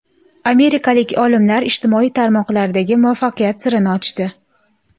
Amerikalik olimlar ijtimoiy tarmoqlardagi muvaffaqiyat sirini ochdi.